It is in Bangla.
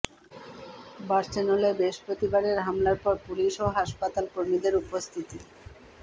বার্সেলোনায় বৃহস্পতিবারের হামলার পর পুলিশ ও হাসপাতাল কর্মীদের উপস্থিতি